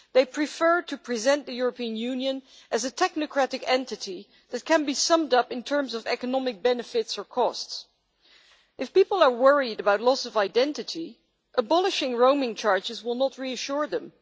They prefer to present the European Union as a technocratic entity that can be summed up in terms of economic benefits or costs. If people are worried about loss of identity, abolishing roaming charges will not reassure them.